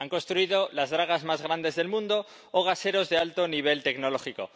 Han construido las dragas más grandes del mundo o gaseros de alto nivel tecnológico.